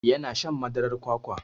Ya na shan madarar kwakwa.